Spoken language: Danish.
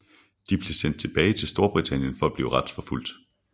De blev sendt tilbage til Storbritannien for at blive retsforfulgt